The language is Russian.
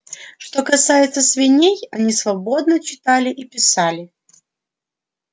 что касается свиней они свободно читали и писали